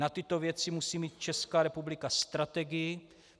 Na tyto věci musí mít Česká republika strategii.